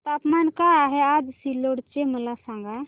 तापमान काय आहे आज सिल्लोड चे मला सांगा